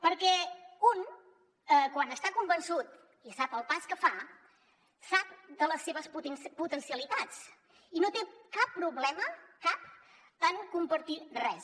perquè un quan està convençut i sap el pas que fa sap les seves potencialitats i no té cap problema cap en compartir res